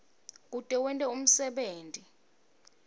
kute wente umsebenti